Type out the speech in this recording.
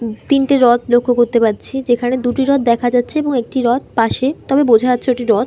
উ - তিনটে রথ লক্ষ্য করতে পারছি যেখানে দুটি রথ দেখা যাচ্ছেএবং একটি রথ পাশে তবে বোঝা যাচ্ছে ওটি রথ ।